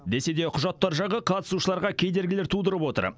десе де құжаттар жағы қатысушыларға кедергілер тудырып отыр